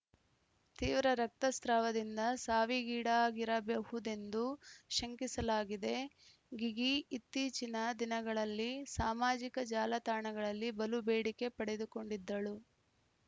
ತೀವ್ರ ರಕ್ತಸ್ರಾವದಿಂದ ಸಾವಿಗೀಡಾಗಿರಬಹುದೆಂದು ಶಂಕಿಸಲಾಗಿದೆ ಗಿಗಿ ಇತ್ತೀಚಿನ ದಿನಗಳಲ್ಲಿ ಸಾಮಾಜಿಕ ಜಾಲತಾಣಗಳಲ್ಲಿ ಬಲು ಬೇಡಿಕೆ ಪಡೆದುಕೊಂಡಿದ್ದಳು